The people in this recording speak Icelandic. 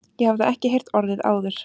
Ég hafði ekki heyrt orðið áður.